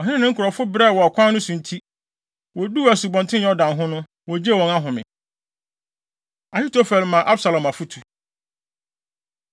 Ɔhene ne ne nkurɔfo nyinaa brɛɛ wɔ ɔkwan so nti, woduu Asubɔnten Yordan ho no, wogyee wɔn ahome. Ahitofel Ma Absalom Afotu